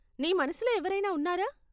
నీ మనసులో ఎవరైనా ఉన్నారా?